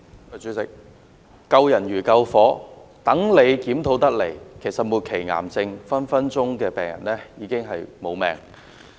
主席，所謂"救人如救火"，待政府的檢討得出結果，末期癌症病人已經喪命。